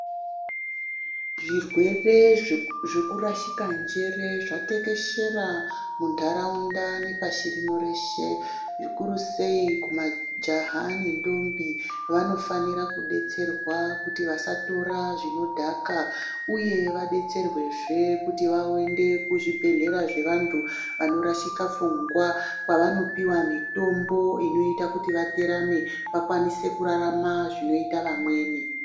Zvirwere zveku-zvekurashika njere zvatekeshera mundaraunda nepashi rino reshe, zvikuru sei kumajaha nendombi, vanofanira kudetserwa kuti vasatora zvinodhaka uye vadetserwezve kuti vaende kuzvibhedhlera zvevandu vanorashika pfungwa, kwavanopiwa mitombo inoyita kuti vaterame, vakwanise kurarama zvinoyita vamweni.